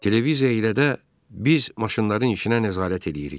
Televiziya ilə də biz maşınların işinə nəzarət eləyirik.